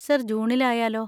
Sir, ജൂണിൽ ആയാലോ?